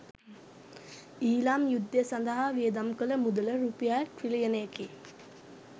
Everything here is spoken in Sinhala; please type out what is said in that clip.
ඊළාම් යුද්ධය සඳහා වියදම් කළ මුදල රුපියල් ට්‍රිලියන කි